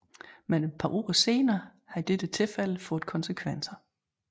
Men et par uger senere havde dette tilfælde fået konsekvenser